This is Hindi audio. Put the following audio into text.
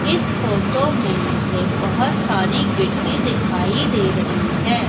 इस फोटो में मुझे बहोत सारी गिट्टी दिखाई दे रही है।